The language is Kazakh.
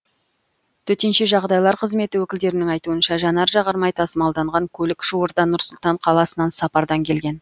төтенше жағдайлар қызметі өкілдерінің айтуынша жанар жағармай тасымалданған көлік жуырда нұр сұлтан қаласынан сапардан келген